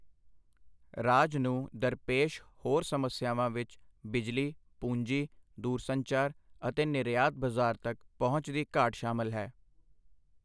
ਰਾਜ ਨੂੰ ਦਰਪੇਸ਼ ਹੋਰ ਸਮੱਸਿਆਵਾਂ ਵਿੱਚ ਬਿਜਲੀ, ਪੂੰਜੀ, ਦੂਰਸੰਚਾਰ ਅਤੇ ਨਿਰਯਾਤ ਬਜ਼ਾਰ ਤੱਕ ਪਹੁੰਚ ਦੀ ਘਾਟ ਸ਼ਾਮਲ ਹੈ।